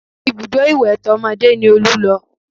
Ibùdó ìwẹ̀ tọmọdé ni Olú lọ